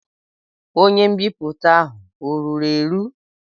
Onye mbipụta ahụ ọ ruru eru?